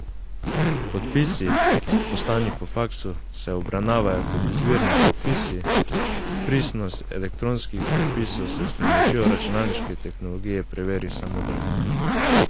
Podpisi, poslani po faksu, se obravnavajo kot izvirni podpisi, pristnost elektronskih podpisov se s pomočjo računalniške tehnologije preveri samodejno.